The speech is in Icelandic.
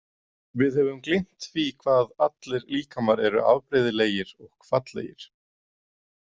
Við höfum gleymt því hvað allir líkamar eru afbrigðilegir og fallegir.